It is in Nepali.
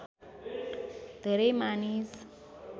धेरै मानिस